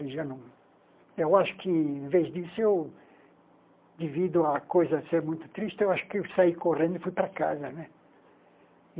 Já não... Eu acho que, em vez disso, eu... devido à coisa ser muito triste, eu acho que eu saí correndo e fui para casa, né?